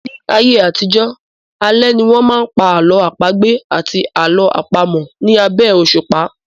Ní ayé àtijọ́, alẹ́ ni wọ́n máa ń pa àlọ́ àpagbè àti àlọ́ àpamọ̀ ní abẹ́ òsùpá